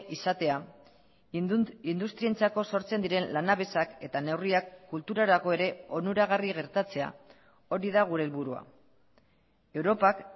izatea industrientzako sortzen diren lanabesak eta neurriak kulturarako ere onuragarri gertatzea hori da gure helburua europak